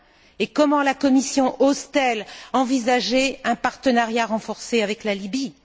Et comment la Commission ose t elle envisager un partenariat renforcé avec la Lybie?